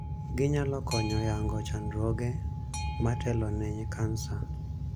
Ginyalo konyo yango chandruoge matelo ne kansa